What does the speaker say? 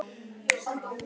Sumir sýnast á floti.